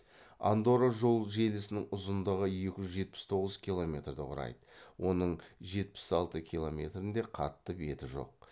андорра жол желісінің ұзындығы екі жүз жетпіс тоғыз километрді құрайды оның жетпіс алты километрінде қатты беті жоқ